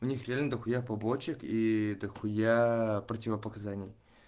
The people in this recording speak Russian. у них реально до хуя побочек и до хуя противопоказаний